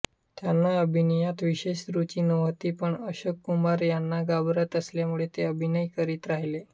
त्यांना अभिनयात विशेष रूची नव्हती पण अशोक कुमार यांना घाबरत असल्यामुळे ते अभिनय करीत राहिले